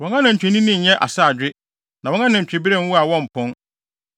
Wɔn anantwinini nnyɛ asaadwe; na wɔn anantwibere nwo a wɔmpɔn.